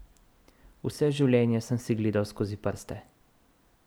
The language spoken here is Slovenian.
Vse življenje sem si gledal skozi prste.